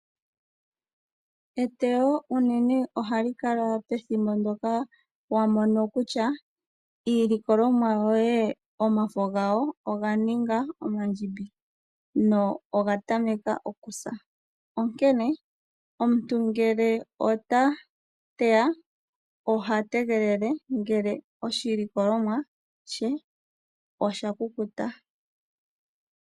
Eteyo unene ohali kala pethimbo mpoka wa mono kutya iilikolomwa yoye omafo gawo oga ninga omandjimbi, go oga tameka okusa, onkene omuntu ngele ta teya, oha tegelele ngele oshilikolomwa she sha kukuta.